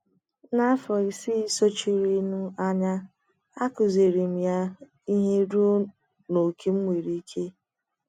N’afọ isii sochirinụ anya, akụziiri m ya ihe ruo n’ókè m nwere ike.